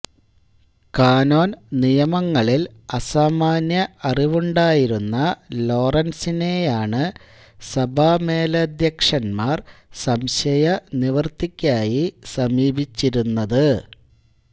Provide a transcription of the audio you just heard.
cannon നിയമങ്ങളിൽ അസാമാന്യ അറിവുണ്ടായിരുന്ന ലോറൻസിനെയാണ് സഭാമേലധ്യക്ഷന്മാർ സംശയനിവർത്തിക്കായി സമീപിച്ചിരുന്നത്